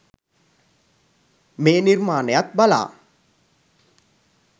මේ නිර්මාණයත් බලා